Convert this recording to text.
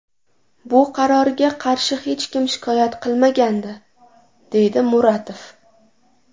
Bu qarorga qarshi hech kim shikoyat qilmagandi”, deydi Muratov.